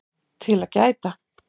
TIL AÐ GÆTA